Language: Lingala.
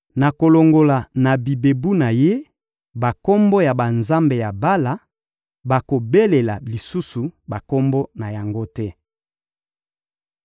Nakolongola na bibebu na ye bakombo ya banzambe ya Bala; bakobelela lisusu bakombo na yango te.